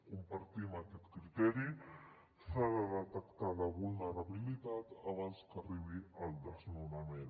compartim aquest criteri s’ha de detectar la vulnerabilitat abans que arribi el desnonament